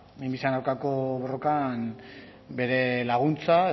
minbiziaren aurkako borrokan bere laguntza